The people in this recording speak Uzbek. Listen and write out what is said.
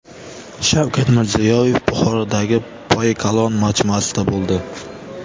Shavkat Mirziyoyev Buxorodagi Poyi Kalon majmuasida bo‘ldi.